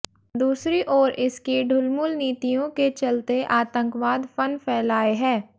दूसरी ओर इसकी ढुलमुल नीतियों के चलते आतंकवाद फन फैलाए है